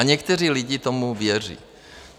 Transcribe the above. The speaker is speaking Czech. A někteří lidé tomu věří.